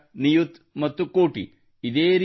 ಲಕ್ಷ ನಿಯುತ್ ಮತ್ತು ಕೋಟಿ